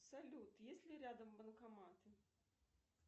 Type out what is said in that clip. салют есть ли рядом банкоматы